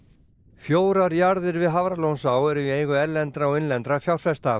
fjórar jarðir við Hafralónsá eru í eigu erlendra og innlendra fjárfesta